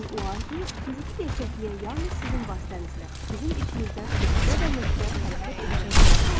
Lakin o arzu fiziki gerçəkliyə yalnız sizin vasitənizlə, sizin içinizdən nöqtə-bə-nöqtə hərəkət edərək yaxınlaşır.